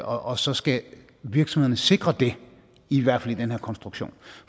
og så skal virksomhederne sikre det i hvert fald i den her konstruktion